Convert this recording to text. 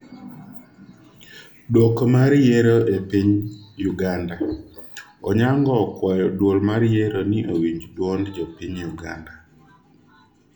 dwoko mar yiero e piny Uganda:Onyango okwayo duol mar yiero ni owinj duond jopiny Uganda